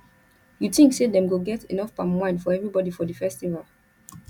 you tink say dem go get enough palm wine for everybody for di festival